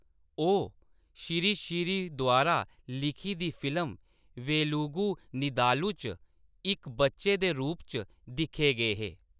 ओह्‌‌ श्री श्री द्वारा लिखी दी फिल्म वेलुगु नीदालु च इक बच्चे दे रूप च दिक्खे गे हे।